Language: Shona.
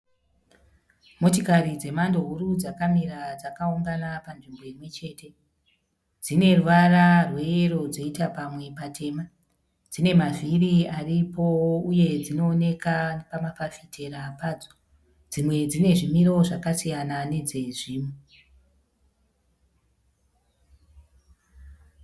Motikari dzemhando huru dzakamira dzakaungana panzvimbo imwechete. Dzine ruvara rweyero dzoita pamwe patema. Dzine mavhiri aripo uye dzinooneka pamafafitera padzo. Dzimwe dzine zvimiro zvakasiyana nedzezvimwe.